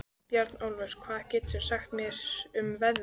Bjarnólfur, hvað geturðu sagt mér um veðrið?